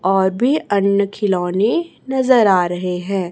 और भी अन्य खिलौने नजर आ रहे हैं।